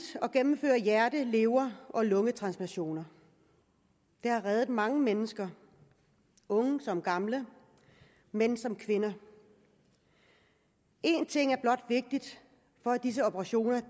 at gennemføre hjerte lever og lungetransplantation det har været mange mennesker unge som gamle mænd som kvinder en ting er blot vigtig for at disse operationer